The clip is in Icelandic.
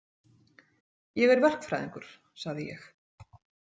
Ég er verkfræðingur, sagði ég.